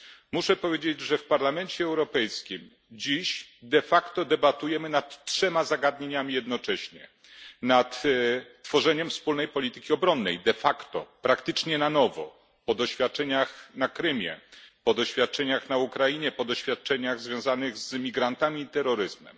Muszę powiedzieć, że w Parlamencie Europejskim dziś de facto debatujemy nad trzema zagadnieniami jednocześnie Nad tworzeniem wspólnej polityki obronnej praktycznie na nowo po doświadczeniach na Krymie, po doświadczeniach na Ukrainie, po doświadczeniach związanych z emigrantami i z terroryzmem.